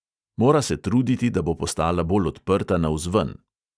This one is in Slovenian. Mora se truditi, da bo postala bolj odprta navzven.